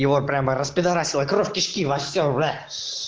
его прямо распидорасило кровь кишки во всё